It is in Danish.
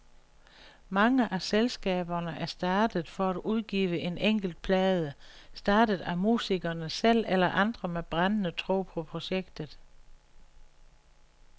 Mange af selskaberne er startet for at udgive en enkelt plade, startet af musikerne selv eller andre med brændende tro på projektet.